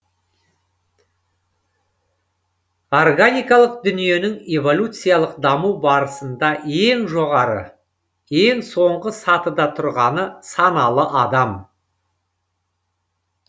органикалық дүниенің эволюциялық даму барысында ең жоғары ең соңғы сатыда тұрғаны саналы адам